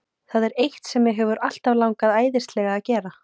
Það er eitt sem mig hefur alltaf langað æðislega að gera.